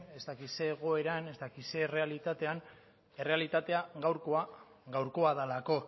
ez dakit zer egoeran ez dakit zer errealitatean errealitatea gaurkoa gaurkoa delako